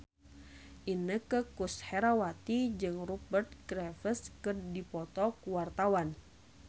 Inneke Koesherawati jeung Rupert Graves keur dipoto ku wartawan